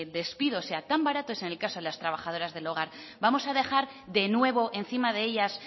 despido sea tan barato es en el caso de las trabajadoras del hogar vamos a dejar de nuevo encima de ellas